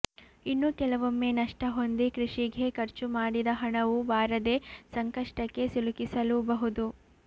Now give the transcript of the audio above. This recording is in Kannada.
ಇನ್ನು ಕೆಲವೊಮ್ಮೆ ನಷ್ಟ ಹೊಂದಿ ಕೃಷಿಗೆ ಖರ್ಚು ಮಾಡಿದ ಹಣವೂ ಬಾರದೆ ಸಂಕಷ್ಟಕ್ಕೆ ಸಿಲುಕಿಸಲೂಬಹುದು